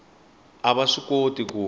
a va swi koti ku